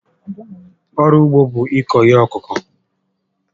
Ọrụ ugbo bụ ịkụ ihe ọkụkụ